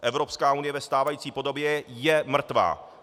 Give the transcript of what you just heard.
Evropská unie ve stávající podobě je mrtvá!